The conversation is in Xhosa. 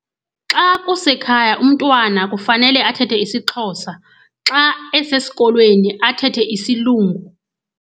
Xa kusekhaya, umntwana kufanele athethe isiXhosa. Xa esesikolweni athethe isilungu.